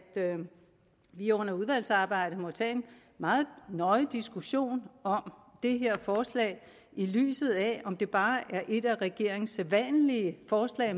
vi under udvalgsarbejdet må tage en meget nøje diskussion om det her forslag i lyset af om det bare er et af regeringens sædvanlige forslag